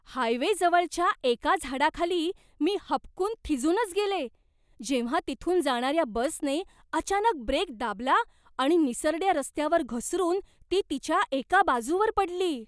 हायवेजवळच्या एका झाडाखाली मी हबकून थिजूनच गेले, जेव्हा तिथून जाणाऱ्या बसने अचानक ब्रेक दाबला आणि निसरड्या रस्त्यावर घसरून ती तिच्या एका बाजूवर पडली.